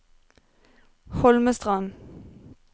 Holmestrand